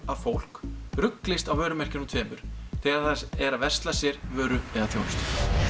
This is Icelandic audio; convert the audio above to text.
að fólk ruglist á vörumerkjunum tveimur þegar það er að versla sér vöru eða þjónustu